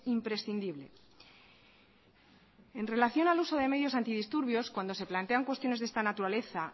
imprescindible en relación al uso de medios antidisturbios cuando se plantean cuestiones de esta naturaleza